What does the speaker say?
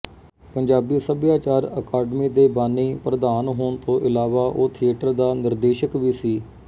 ਪੰਜਾਬੀ ਸਭਿਆਚਾਰ ਅਕਾਡਮੀ ਦੇ ਬਾਨੀ ਪ੍ਰਧਾਨ ਹੋਣ ਤੋਂ ਇਲਾਵਾ ਉਹ ਥੀਏਟਰ ਦਾ ਨਿਰਦੇਸ਼ਕ ਵੀ ਸੀ